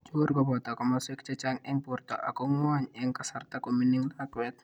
Chukur koboto komaswek chechang' eng' borto ak ko nwoy eng' kasarta koming'iin lakwet.